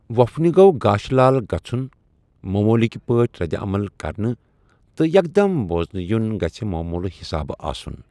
ووفنہِ گو٘گاشہٕ لال گژھن موموُلٕكہِ پٲٹھہِ ردِعمل كرٕنہِ تہٕ یكھ دم بوزنہٕ یٗن گژھِ موموُلہٕ حِسابہٕ آسٗن ۔